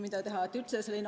Mida teha?